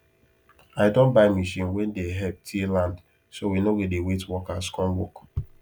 i don buy machine wen dey help till land so we no go dey wait workers come work